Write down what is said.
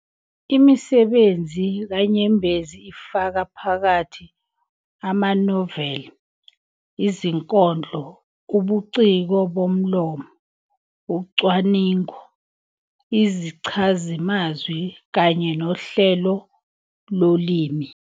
Imisebenzi kaNyembezi ifaka phakathi amanoveli, izinkondlo, ubuciko bomlomo, ucwaningo, izichazimazwi kanye nohlelo lolimi.